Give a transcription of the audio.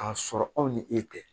K'a sɔrɔ aw ni e tɛ